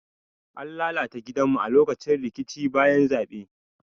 An lalata gidanmu a lokacin rikicin bayan zabe.